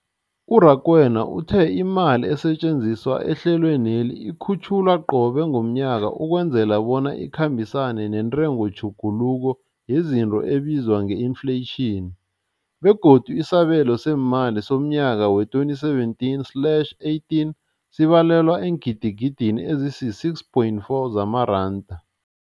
U-Rakwena uthe imali esetjenziswa ehlelweneli ikhutjhulwa qobe ngomnyaka ukwenzela bona ikhambisane nentengotjhuguluko yezinto ebizwa nge-infleyitjhini, begodu isabelo seemali somnyaka we-2017 slash 18 sibalelwa eengidigidini ezisi-6.4 zamaranda.